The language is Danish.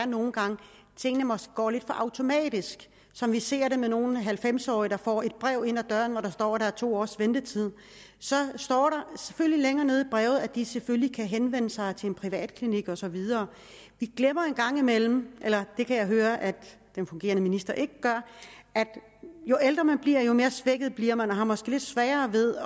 nogle gange går lidt for automatisk som vi ser det når nogle halvfems årige får et brev ind ad døren hvori der står at der er to års ventetid så står der længere nede i brevet at de selvfølgelig kan henvende sig til en privatklinik og så videre vi glemmer en gang imellem eller det kan jeg høre at den fungerende minister ikke gør at jo ældre man bliver jo mere svækket bliver man har måske lidt sværere ved